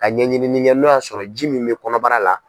Ka ɲɛɲini kɛ n'o y'a sɔrɔ ji min bɛ kɔnɔbara la.